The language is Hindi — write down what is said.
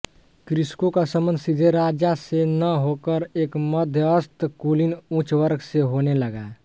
कृषकों का सम्बन्ध सीधे राजा से न होकर एक मध्यस्थ कुलीन उच्चवर्ग से होने लगा